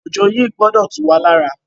Òjò yìí gbọdọ̀ tú wá lára.